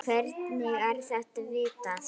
Hvernig er þetta vitað?